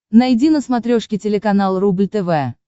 найди на смотрешке телеканал рубль тв